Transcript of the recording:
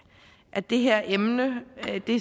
at det her emne